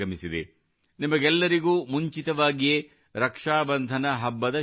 ನಿಮಗೆಲ್ಲರಿಗೂ ಮುಂಚಿತವಾಗಿಯೇ ರಕ್ಷಾಬಂಧನ ಹಬ್ಬದ ಶುಭಾಶಯಗಳು